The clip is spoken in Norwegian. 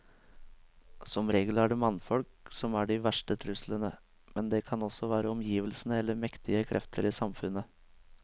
Som regel er det mannfolk som er de verste truslene, men det kan også være omgivelsene eller mektige krefter i samfunnet.